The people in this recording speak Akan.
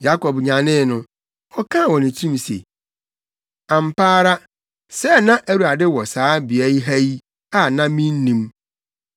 Yakob nyanee no, ɔkaa wɔ ne tirim se, “Ampa ara, sɛɛ na Awurade wɔ saa beae ha yi, a na minnim!”